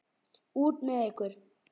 Út með ykkur.